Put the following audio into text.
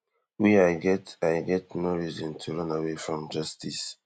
wey i get i get no reason to run away from justice